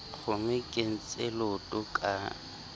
kgomo e kentse leoto ka